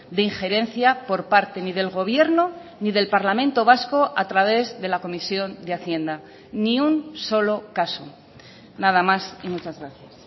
de injerencia por parte ni del gobierno ni del parlamento vasco a través de la comisión de hacienda ni un solo caso nada más y muchas gracias